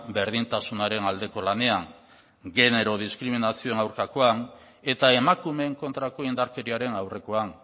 berdintasunaren aldeko lanean genero diskriminazioaren aurkakoan eta emakumeen kontrako indarkeriaren aurrekoan